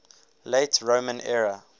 late roman era